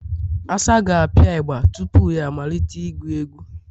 Asa ga-apịa igba tupu ya amalite ịgụ egwụ